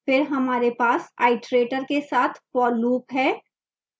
फिर हमारे पास iterator के साथ for loop है